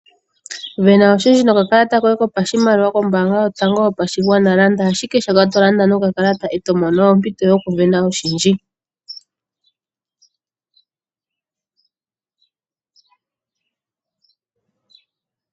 Vena oshindhi nokakalata kopashimaliwa koye kombanga yotango yopashigwana. Landa ashike shoka to landa nokakalata eto mono ompito yoku vena oshindji.